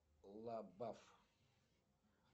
лабаф